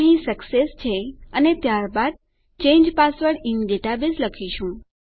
તો અહીં સક્સેસ છે અને ત્યારબાદ ચાંગે પાસવર્ડ ઇન ડેટાબેઝ લખીશું